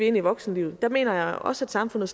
ind i voksenlivet der mener jeg også at samfundet